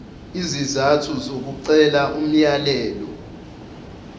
izizathu zokucela umyalelo